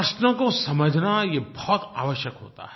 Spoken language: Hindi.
प्रश्नों को समझना ये बहुत आवश्यक होता है